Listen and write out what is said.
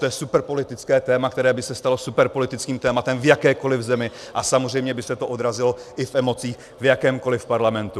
To je superpolitické téma, které by se stalo superpolitickým tématem v jakékoliv zemi a samozřejmě by se to odrazilo i v emocích v jakémkoliv parlamentu.